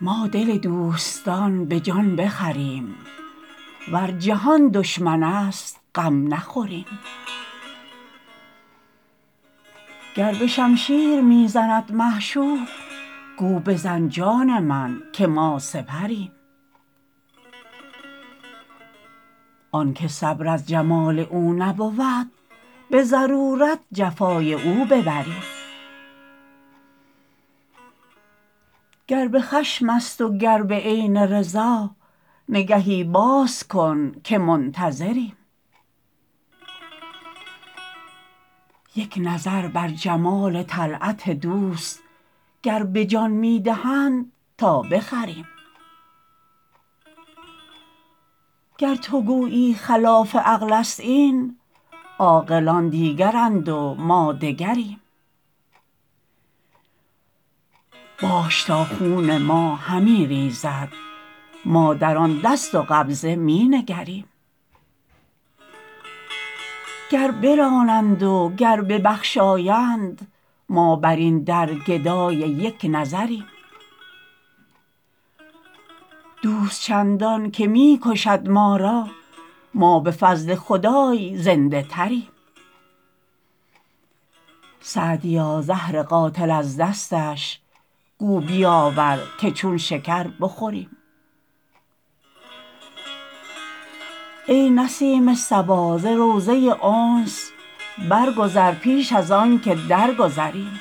ما دل دوستان به جان بخریم ور جهان دشمن است غم نخوریم گر به شمشیر می زند معشوق گو بزن جان من که ما سپریم آن که صبر از جمال او نبود به ضرورت جفای او ببریم گر به خشم است و گر به عین رضا نگهی باز کن که منتظریم یک نظر بر جمال طلعت دوست گر به جان می دهند تا بخریم گر تو گویی خلاف عقل است این عاقلان دیگرند و ما دگریم باش تا خون ما همی ریزد ما در آن دست و قبضه می نگریم گر برانند و گر ببخشایند ما بر این در گدای یک نظریم دوست چندان که می کشد ما را ما به فضل خدای زنده تریم سعدیا زهر قاتل از دستش گو بیاور که چون شکر بخوریم ای نسیم صبا ز روضه انس برگذر پیش از آن که درگذریم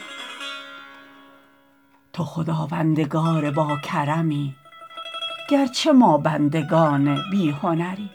تو خداوندگار باکرمی گر چه ما بندگان بی هنریم